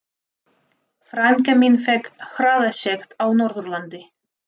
Frænka mín fékk hraðasekt á Norðurlandi.